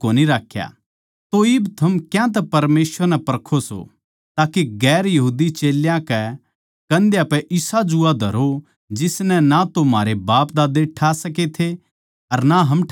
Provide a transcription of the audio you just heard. तो इब थम क्यांतै परमेसवर नै परखो सों के चेल्यां की कंध्या पै इसा जूआ धरो जिसनै ना म्हारे बापदाद्दे ठा सकै थे अर ना हम ठा सकां सां